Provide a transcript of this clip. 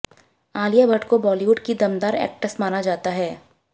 आलिया भट्ट को बॉलीवुड की दमदार एक्ट्रेस माना जाता है